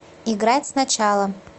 играть сначала